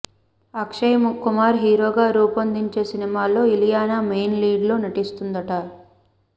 అక్షయ్ కుమార్ హీరోగా రూపొందే సినిమాలో ఇలియానా మెయిన్ లీడ్లో నటిస్తుందట